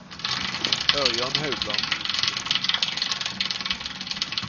Ørjan Haugland